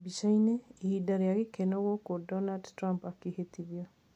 Bica-ini: Ihinda ria gikeno gũkũ Donald Trump akĩĩtithio